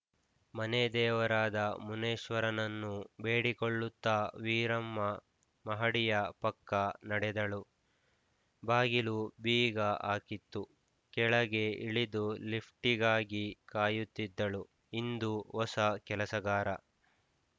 ಮನೆದೇವರಾದ ಮುನೀಶ್ವರನನ್ನು ಬೇಡಿಕೊಳ್ಳುತ್ತಾ ವೀರಮ್ಮ ಮಹಡಿಯ ಪಕ್ಕ ನಡೆದಳು ಬಾಗಿಲು ಬೀಗ ಹಾಕಿತ್ತು ಕೆಳಗೆ ಇಳಿದು ಲಿಫ್ಟ್‌ಗಾಗಿ ಕಾಯುತ್ತಿದ್ದಳು ಇಂದು ಹೊಸ ಕೆಲಸಗಾರ